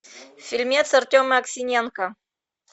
фильмец артема аксененко